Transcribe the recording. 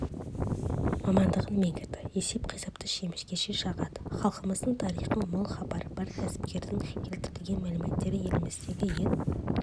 мамандығын меңгерді есеп-қисапты шемішкеше шағады халқымыз тарихынан мол хабары бар кәсіпкердің келтірген мәліметтері еліміздегі ет